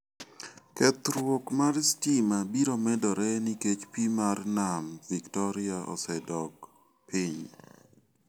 Kethruok mar sitima biro medore nikech pi mar mam Victoria osedok dok piny.